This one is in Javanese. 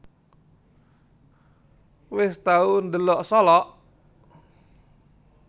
Wes tau ndelok Solok?